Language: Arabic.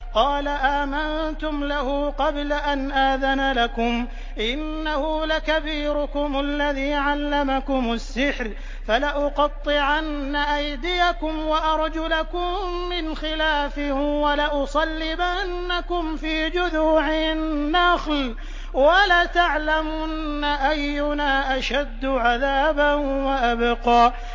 قَالَ آمَنتُمْ لَهُ قَبْلَ أَنْ آذَنَ لَكُمْ ۖ إِنَّهُ لَكَبِيرُكُمُ الَّذِي عَلَّمَكُمُ السِّحْرَ ۖ فَلَأُقَطِّعَنَّ أَيْدِيَكُمْ وَأَرْجُلَكُم مِّنْ خِلَافٍ وَلَأُصَلِّبَنَّكُمْ فِي جُذُوعِ النَّخْلِ وَلَتَعْلَمُنَّ أَيُّنَا أَشَدُّ عَذَابًا وَأَبْقَىٰ